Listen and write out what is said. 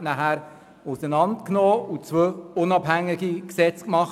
Man hat das PolG dann auseinandergenommen und zwei Gesetze daraus gemacht.